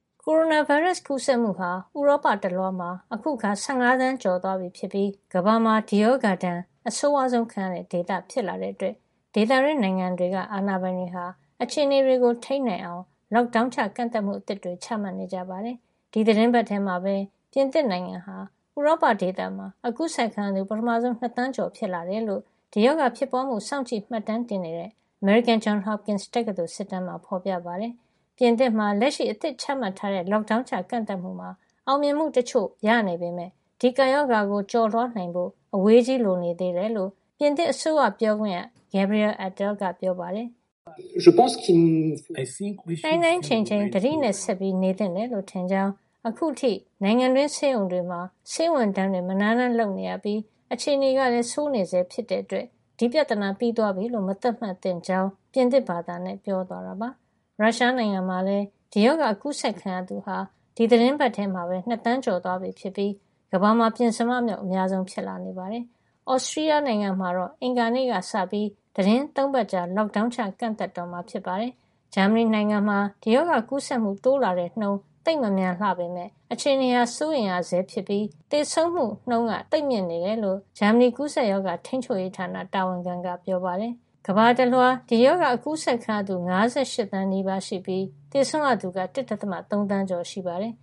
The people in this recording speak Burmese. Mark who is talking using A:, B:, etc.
A: ကိုရိုနာဗိုင်းရပ်စ် ကူးစက်မှုဟာ ဥရောပတလွှားမှာ အခုအခါ ၁၅ သန်းကျော်သွားပြီ ဖြစ်ပြီး ကမ္ဘာမှာ ဒီရောဂါဒဏ် အဆိုးဝါးဆုံးခံရတဲ့ဒေသ ဖြစ်လာတဲ့အတွက် ဒေသတွင်းနိုင်ငံတွေက အာဏာပိုင်တွေက အခြေအနေကို ထိန်းနိုင်အောင် Lockdown ချ ကန့်သတ်မှုအသစ်တွေ ချမှတ်နေကြပါတယ်။ ဒီသီတင်းပတ်ထဲမှာပဲ ပြင်သစ်နိုင်ငံဟာ ဥရောပဒေသမှာ ကူးစက်ခံရသူ ပထမဆုံး ၂ သန်းကျော် ဖြစ်လာတယ်လို့ ဒီရောဂါဖြစ်ပွားမှု စောင့်ကြည့်မှတ်တမ်းတင်နေတဲ့ အမေရိကန် Johns Hopkins တက္ကသိုလ်စစ်တမ်းမှာ ဖော်ပြထားပါတယ်။ ပြင်သစ်နိုင်ငံမှာ လက်ရှိ အသစ်ချမှတ်ထားတဲ့ Lockdown ချ ကန့်သတ်မှုမှာ အောင်မြင်မှုတချို့ ရနေပေမယ့် ဒီကပ်ရောဂါကို ကျော်လွှားနိုင်ဖို့ အဝေးကြီး လိုနေသေးတယ်လို့ ပြင်သစ်အစိုးရ ပြောခွင့်ရ Gabriel Attal က ပြောပါတယ်။
B: "နှိုင်
A: းနှိုင်းချိန်ချိန် သတိနဲ့ ဆက်နေသင့်တယ်လို့ ထင်ကြောင်း၊ အခုထိ နိုင်ငံတွင်း ဆေးရုံတွေမှာ ဆေးဝန်ထမ်းတွေ မနားတမ်းလုပ်နေရပြီး အခြေအနေကလည်း ဆိုးနေဆဲ ဖြစ်တဲ့အတွက် ဒီပြဿနာ ပြီးသွားပြီလို့ မသတ်မှတ်သင့်ကြောင်း” ပြင်သစ်ဘာသာနဲ့ ပြောသွားတာပါ။ ရုရှားနိုင်ငံမှာလည်း ဒီရောဂါကူးစက်ခံရသူဟာ ဒီသီတင်းပတ်ထဲမှာပဲ ၂ သန်းကျော်သွားပြီဖြစ်ပြီး ကမ္ဘာမှာ ပဉ္စမမြောက် အများဆုံး ဖြစ်နေပါတယ်။ သြစတြီးယားနိုင်ငံမှာတော့ အင်္ဂါနေ့ကစပြီး သီတင်း ၃ ပတ်ကြာ Lockdown ချ ကန့်သတ်တော့မှာ ဖြစ်ပါတယ်။ ဂျာမနီနိုင်ငံမှာတော့ ဒီရောဂါကူးစက်မှု တိုးလာတဲ့နှုန်း သိပ်မမြန်လှပေမယ့် အခြေအနေဟာ စိုးရိမ်ရဆဲဖြစ်ပြီး သေဆုံးမှုနှုန်းက သိပ်မြင့်နေတယ်လို့ ဂျာမနီ ကူးစက်ရောဂါ ထိန်းချုပ်ရေးဌာန တာဝန်ခံက ပြောပါတယ်။ ဂျာမနီနိုင်ငံမှာ COVID-19 ကူးစက်ခံရသူ တသန်းနီးပါးရှိပြီး သေဆုံးရသူက ၁၀,၀၀၀ ကျော် ရှိပါတယ်။ ကမ္ဘာတလွှား ဒီရောဂါ ကူးစက်ခံရသူ ၅၈ သန်းနီးပါးရှိပြီး သေဆုံးရသူက ၁.၃ သန်းကျော် ရှိပါတယ်